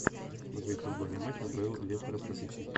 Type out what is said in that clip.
смотреть футбольный матч апл лестер против сити